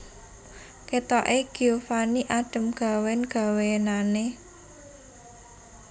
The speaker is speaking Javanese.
Kathok e Giovanni adem gawen gawenane